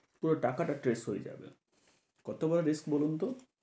পুরো টাকাটা trace হয়ে যাবে। কত বড় risk বলুন তো?